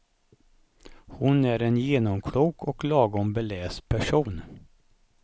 Hon är en genomklok och lagom beläst person.